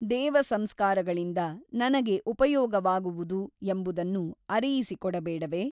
ದೇವ ಸಂಸ್ಕಾರಗಳಿಂದ ನನಗೆ ಉಪಯೋಗವಾಗುವುದು ಎಂಬುದನ್ನು ಅರಿಯಿಸಿಕೊಡಬೇಡವೇ ?